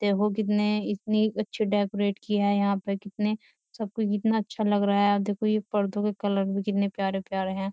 देखो कितने इतनी अच्छे डेकोरेट किया है यहाँ पे कितने सबको कितना अच्छा लग रहा है और देखो ये पर्दों के कलर भी कितने प्यारे प्यारे हैं।